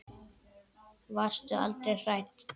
Varstu aldrei hrædd?